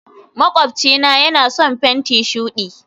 makwabcina yana son fenti shudi